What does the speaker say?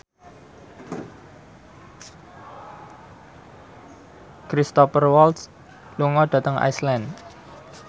Cristhoper Waltz lunga dhateng Iceland